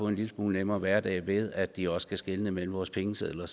en lille smule nemmere hverdag ved at de også kan skelne mellem vores pengesedler